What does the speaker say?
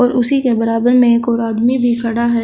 उसी के बराबर में एक और आदमी भी खड़ा है।